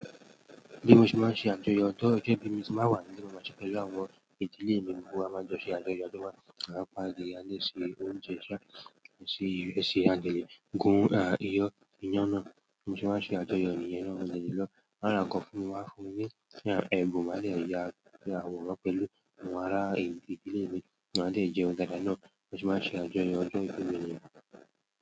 Bí mo ṣe máa ṣe àjọyọ̀ ọjọ́ ìbí mi tí màá wà níle mo maa ṣe pẹ̀lú àwọn ìdílé mi, gbogbo wa á maa jọ ṣe àjọyọ̀, à a pa adìẹ, a lè se oúnjẹ sa àti ìrẹsì a de le gún iyán náà, bi mo se máa ṣe àjọyọ̀ nìyàn mo de le lọ. Wa ra nǹkan fún mi, wà á fún ní ẹ̀bùn, màá de ẹ ya àwòrán pẹ̀lú àwọn ará ìdílé mi. Máa de jẹun dáadáa náà, bi mo se máa ṣe àjọyọ̀ ọjọ́ ìbí mi ní niyen.